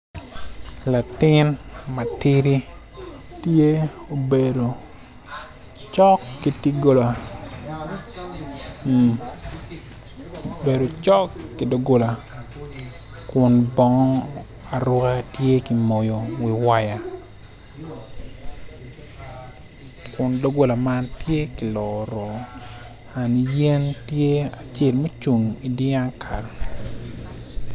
Latin matidi tye obedo cok ki dogola kun bongo aruka tye ki moyo i waya kun dogola man tye ki loro an yen tye acel mucung idiakal.